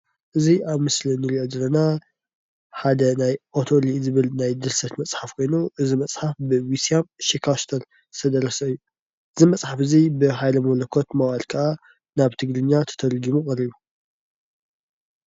እዚ ኣብ ምስሊ ንሪኦ ዘለና ሓደ ናይ ኦተሊ ዝብል ናይ ድርሰት መፅሓፍ ኮይኑ እዚ መፅሓፍ ብዊልሺያም ሺካስተር ዝተደረሰ እዩ። እዙይ መፅሓፍ እዚ ብሃይለ መለኮት ብቀጥታ ናብ ትግርኛ ተተርጉሙ ቀሪቡ።